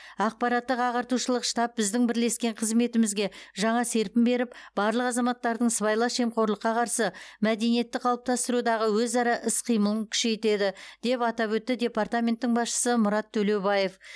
ақпараттық ағартушылық штаб біздің бірлескен қызметімізге жаңа серпін беріп барлық азаматтардың сыбайлас жемқорлыққа қарсы мәдениетті қалыптастырудағы өзара іс қимылын күшейтеді деп атап өтті департаменттің басшысы мұрат төлеубаев